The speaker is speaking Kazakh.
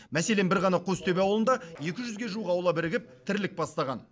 мәселен бір ғана қостөбе ауылында екі жүзге жуық аула бірігіп тірлік бастаған